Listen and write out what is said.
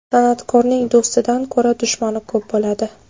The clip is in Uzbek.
San’atkorning do‘stidan ko‘ra dushmani ko‘p bo‘ladi.